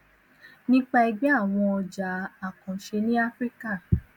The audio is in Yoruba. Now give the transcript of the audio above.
nípa ẹgbẹ àwọn ọjà àkànṣe ní áfíríkà